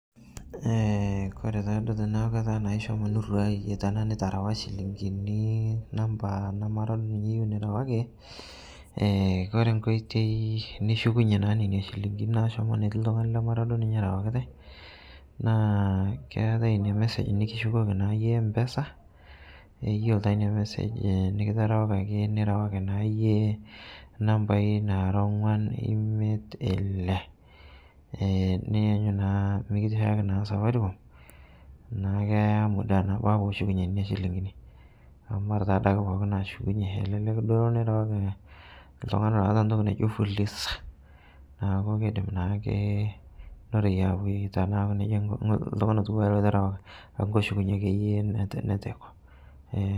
Eh kore taaduo tanaaku keta naa ishomo niruye tanaa niterewaa shilinkini namba namara duo ninye iyeu nirewaki, eh kore nkoitoi nishukunye naa neina shilinkini naashomo neti ltung'ani lamara duo ninye erawakitai, naa keatae inia message nikishukoki naa yie Mpesa, yuolo taa inia message e nikitarawakaki nirewaki naa iyie nambai nara ong'wan imet ile, eh niyanyu naa mikishaaki naa Safaricom naa keya muda nabaa pooshukunye nena silinkini amu mara taaduake pooki naashukunye elelek duo nirawaki ltung'ani loata ntoki naijo Fuliza, naaku keidim naake noroye aaku tanaa neja ng' ltung'ani lotuwaa lo itarawaka amu keshukunye ake iyie netu netu eiko eh.